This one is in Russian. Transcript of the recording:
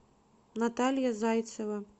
наталья зайцева